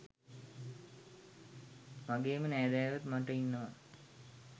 වගේම නෑදෑයොත් මට ඉන්නව.